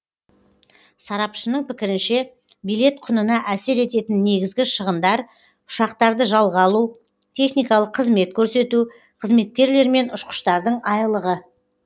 сарапшының пікірінше билет құнына әсер ететін негізгі шығындар ұшақтарды жалға алу техникалық қызмет көрсету қызметкерлер мен ұшқыштардың айлығы